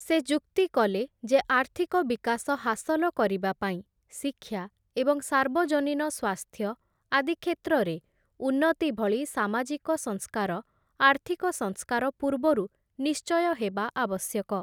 ସେ ଯୁକ୍ତିକଲେ ଯେ ଆର୍ଥିକ ବିକାଶ ହାସଲ କରିବା ପାଇଁ ଶିକ୍ଷା ଏବଂ ସାର୍ବଜନୀନ ସ୍ୱାସ୍ଥ୍ୟ ଆଦି କ୍ଷେତ୍ରରେ ଉନ୍ନତି ଭଳି ସାମାଜିକ ସଂସ୍କାର ଆର୍ଥିକ ସଂସ୍କାର ପୂର୍ବରୁ ନିଶ୍ଚୟ ହେବା ଆବଶ୍ୟକ ।